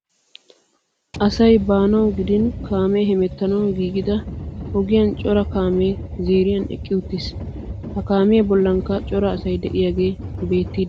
Asay baanawu gidin kaamee hemettanawu giigida ogiyan cora kaamee ziiriyan eqqi uttiis. Ha kaamiya bollankka cora asay de'iyagee beettiiddi de'ees.